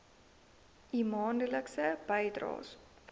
u maandelikse bydraes